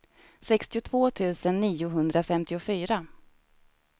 sextiotvå tusen niohundrafemtiofyra